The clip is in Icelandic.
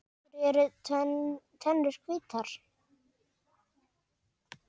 Af hverju eru tennur hvítar?